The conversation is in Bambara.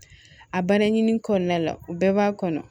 A balen ɲini kɔnɔna la u bɛɛ b'a kɔnɔ